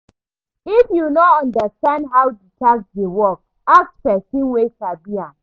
If you no understand how di tax dey work, ask person wey sabi am